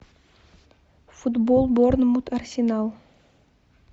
футбол борнмут арсенал